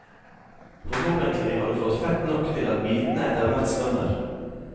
Forhåpentlig har du fått fett nok til at bitene etterhvert svømmer.